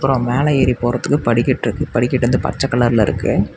அப்றோ மேல ஏறி போறதுக்கு ஒரு படிக்கட்டு இருக்கு படிக்கட்டு வந்து பச்ச கலர்ல இருக்கு.